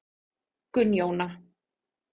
Gunnjóna